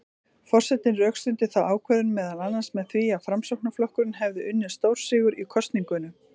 Forsetinn rökstuddi þá ákvörðun meðal annars með því að Framsóknarflokkurinn hefði unnið stórsigur í kosningunum.